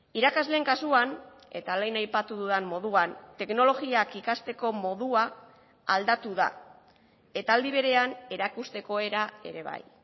irakasleen kasuan eta lehen aipatu dudan moduan teknologiak ikasteko modua aldatu da eta aldi berean erakusteko era ere bai